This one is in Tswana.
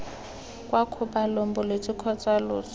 kwa kgobalong bolwetse kgotsa loso